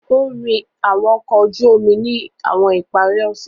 O nrin awọn ọkọ oju omi ni awọn ipari ose.